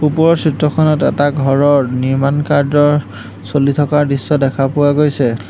ওপৰৰ চিত্ৰখনত এটা ঘৰৰ নিৰ্মাণ কাৰ্য্যৰ চলি থকাৰ দৃশ্য দেখা পোৱা গৈছে।